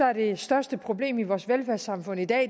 er det største problem i vores velfærdssamfund i dag